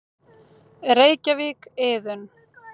Reykjavík: Iðunn.